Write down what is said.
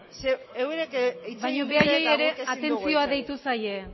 mesedez klaro eurak hitz egin dute eta guk ezin dugu hitz egin baina haiei ere atentzioa deitu zaie